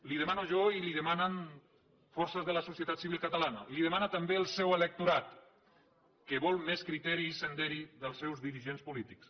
li ho demano jo i li ho demanen forces de la societat civil catalana li ho demana també el seu electorat que vol més criteri i senderi dels seus dirigents polítics